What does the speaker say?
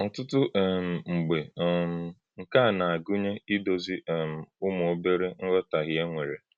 Ọ̀tụtụ̀ um mgbe, um nke a na-agụnye ídozi um ụmụ́ obere nghọtáhie e nwere.